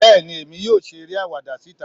bẹẹni emí yóò ṣe eré awáda sitá